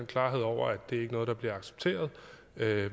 klarhed over at det ikke er noget der bliver accepteret